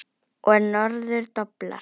Og norður doblar.